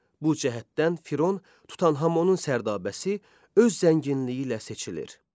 Bu cəhətdən Firon Tutanhamonun sərdabəsi öz zənginliyi ilə seçilir.